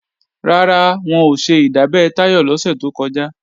Rárá, wọn ò ṣe ìdábẹ́ Táyọ̀ lọ́sẹ̀ tó kọjá